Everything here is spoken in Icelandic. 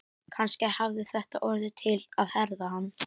Kannski hafði þetta orðið til að herða hann.